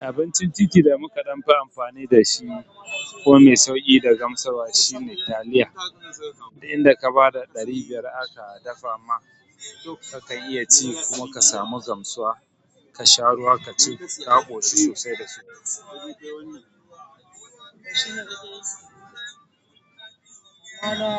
Abincin titi da mu ka dan fi amfani da shi, ko mai sauƙi da gamsarwa shi ne taliya duk inda ka ba da ɗari biyar aka dafa ma, dukka ka iya ci kuma ka samu gamsuwa ka sha ruwa, ka ci ka ƙoshi sosai da sosai.